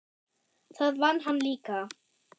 Það vann hann líka.